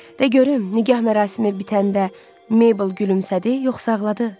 "Da görüm, nigah mərasimi bitəndə Meybl gülümsədi, yoxsa ağladı?"